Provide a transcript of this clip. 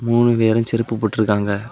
மூணு பேரு செருப்பு போட்டு இருக்காங்க.